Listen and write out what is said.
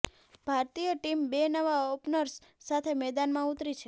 ભારતીય ટીમ બે નવા ઓપનર્સ સાથે મેદાનમાં ઉતરી છે